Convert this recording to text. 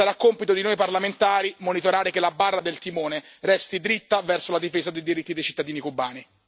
Sarà compito di noi parlamentari monitorare che la barra del timone resti dritta verso la difesa dei diritti dei cittadini cubani.